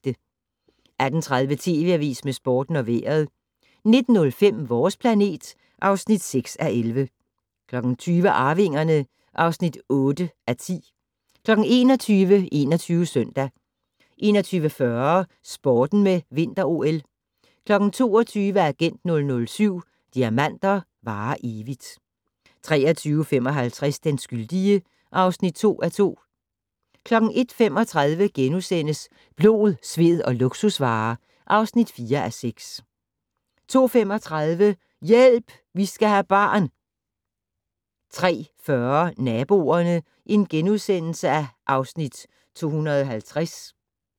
18:30: TV Avisen med Sporten og Vejret 19:05: Vores planet (6:11) 20:00: Arvingerne (8:10) 21:00: 21 Søndag 21:40: Sporten med Vinter-OL 22:00: Agent 007 - Diamanter varer evigt 23:55: Den skyldige (2:2) 01:35: Blod, sved og luksusvarer (4:6)* 02:35: Hjælp! Vi skal have barn 03:40: Naboerne (Afs. 250)*